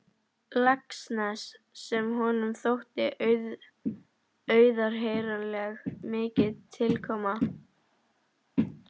Laxness sem honum þótti auðheyranlega mikið til koma.